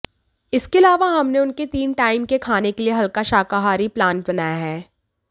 इसके अलावा हमने उनके तीन टाइम के खाने के लिए हल्का शाकाहारी प्लान बनाया है